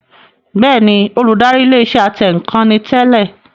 Bẹ́ẹ̀ni, Olùdarí ilé iṣẹ́ atẹǹkan ni tẹ́lẹ̀